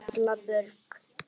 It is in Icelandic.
Erla Björk.